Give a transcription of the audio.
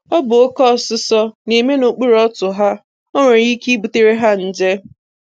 Ọ bụ oke ọsụsọ na-eme n’okpuru ọtụ ha; o nwere ike ịbutere ha nje.